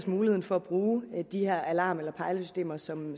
muligheden for at bruge de her alarmer eller pejlesystemer som